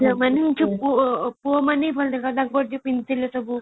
ସେମାନେ ପୁଅମାନେ ଭଲଦେଖାଯାଉଥିଲେ ତାଙ୍କର ଯୋଉ ପିନ୍ଧିଥିଲେ ସବୁ